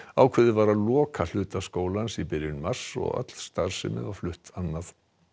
ákveðið var að loka hluta skólans í byrjun mars og öll starfsemi flutt annað